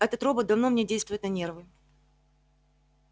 этот робот давно мне действует на нервы